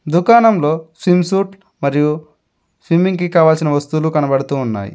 దుకాణంలో swim suit మరియు swimming కి కావాల్సిన వస్తువులు కనబడుతూ ఉన్నాయి.